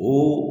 Mun